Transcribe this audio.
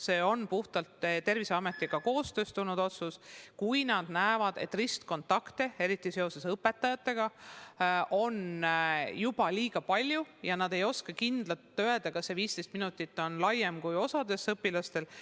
See on puhtalt Terviseametiga koostöös tehtud otsus, kui nad näevad, et ristkontakte, eriti seoses õpetajatega, on juba liiga palju ja nad ei oska kindlalt öelda, kas see 15 minutit kokkupuudet ei piirdu vaid osa õpilastega.